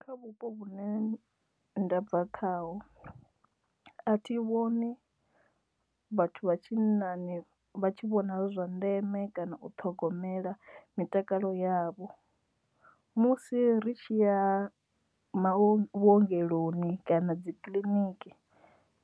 Kha vhupo vhune ndabva khaho a thi vhoni vhathu vha tshinnani vha tshi vhona zwi zwa ndeme kana u ṱhogomela mitakalo yavho musi ri tshi ya vhuongeloni kana dzi kiliniki